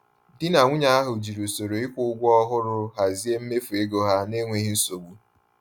Di na nwunye ahụ jiri usoro ịkwụ ụgwọ ọhụrụ hazie mmefu ego ha n’enweghị nsogbu.